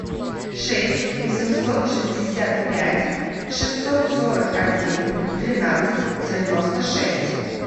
шесть восемьсот шестьдесят пять шестьсот сорок один тринадцать девяносто шесть